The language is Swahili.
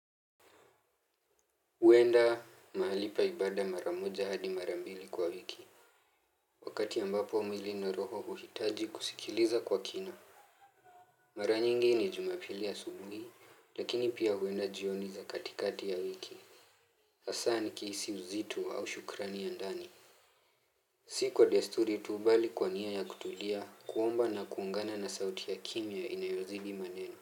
Huenda mahali pa ibada mara moja hadi mara mbili kwa wiki. Wakati ambapo mwili na roho huhitaji kusikiliza kwa kina. Mara nyingi ni jumapili asubuhi, lakini pia huenda jioni za katikati ya wiki. Hasaa nikihisi uzito au shukrani ya ndani. Si kwa desturi tu bali kwa nia ya kutulia kuomba na kuungana na sauti ya kimya inayozidi maneno.